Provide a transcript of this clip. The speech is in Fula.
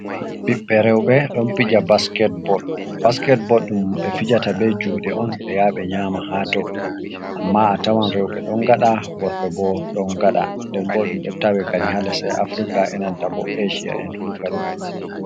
Ɓiɓɓe rowɓe ɗon pija basket bol. Basket bol ɗum ɓe fijata be juɗe on ɓe ya ɓe nyama ha dow, amma a tawan rowɓe ɗon gaɗa worɓe bo ɗon gaɗa, nden bo ɗum ɗon tawe kadi ha lesɗe afrika e nanta bo asia en fu kadi.